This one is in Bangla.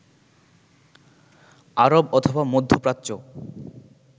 আরব অথবা মধ্যপ্রাচ্য